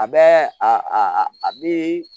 A bɛ a bi